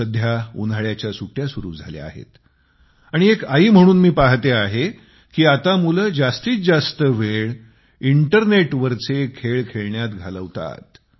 सध्या उन्हाळ्याच्या सुट्ट्या सुरू झाल्या आहेत आणि एक आई म्हणून मी पाहते आहे कि आता मुले आपला जास्तीत जास्त वेळ इंटरनेटवरचे खेळ खेळण्यात घालवतात